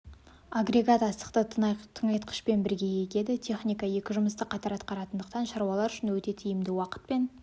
агрегат астықты тыңайтқышпен бірге егеді техника екі жұмысты қатар атқаратындықтан шаруалар үшін өте тиімді уақыт пен